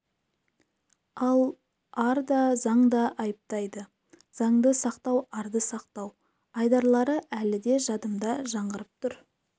ал ар да заң да айыптайды заңды сақтау арды сақтау айдарлары әлі де жадымда жаңғырығып тұр